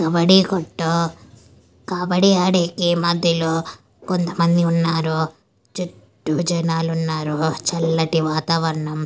కబడ్డీ కొట్టు కబడ్డీ ఆడే ఈ మధ్యలో కొంతమంది ఉన్నారు చుట్టూ జనాలున్నారు చల్లటి వాతావరణం.